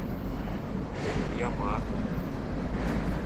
ямато